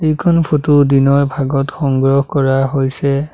এইখন ফটো দিনৰ ভাগৰ সংগ্ৰহ কৰা হৈছে।